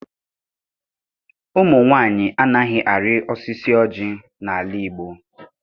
Ụmụ nwaanyị anaghị arị osisi ọjị n'ala Igbo.